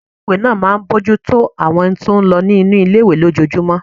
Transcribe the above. Ọgá ilé-ìwé náà máa n bojútó àwọn ohun tó n lọ nínu ilé-ìwé lójojúmọ́